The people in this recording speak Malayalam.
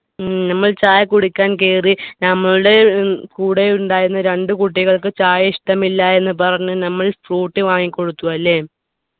ഉം നമ്മൾ ചായ കുടിക്കാൻ കേറി നമ്മളുടെ ഏർ കൂടെ ഉണ്ടായിരുന്ന രണ്ടു കുട്ടികൾക്ക് ചായ ഇഷ്ടമില്ല എന്ന് പറഞ്ഞ് നമ്മൾ ഫ്രൂട്ടി വാങ്ങിക്കൊടുത്തു അല്ലെ